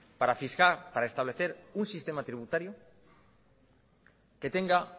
para establecer un sistema tributario que tenga